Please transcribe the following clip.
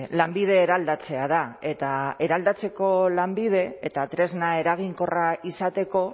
lanbide eraldatzea da eta eraldatzeko lanbide eta tresna eraginkorra izateko